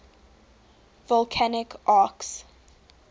volcanic arcs